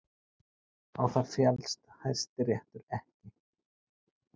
Á það féllst Hæstiréttur ekki